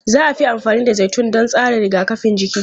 Za a fi amfani da zaitun don tsarin rigakafin jiki.